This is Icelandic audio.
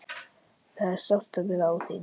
Það er sárt að vera án þín.